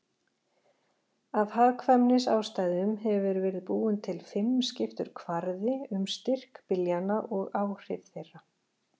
Af hagkvæmnisástæðum hefur verið búinn til fimmskiptur kvarði um styrk byljanna og áhrif þeirra.